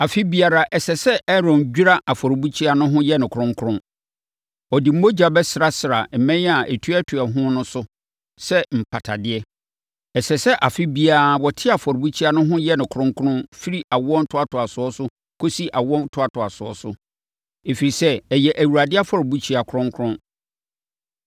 Afe biara, ɛsɛ sɛ Aaron dwira afɔrebukyia no ho yɛ no kronkron. Ɔde mogya bɛsrasra mmɛn a ɛtuatua ho no so sɛ mpatadeɛ. Ɛsɛ sɛ afe biara wɔte afɔrebukyia no ho yɛ no kronkron firi awoɔ ntoatoasoɔ so kɔsi awo ntoatoasoɔ so, ɛfiri sɛ, ɛyɛ Awurade afɔrebukyia kronkron.”